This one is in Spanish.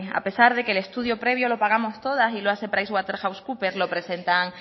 a pesar de que el estudio previo lo pagamos todas y lo hace pricewaterhousecoopers lo presentan